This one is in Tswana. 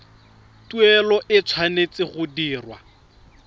tuelo e tshwanetse go dirwa